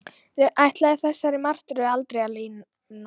Ætlaði þessari martröð aldrei að linna?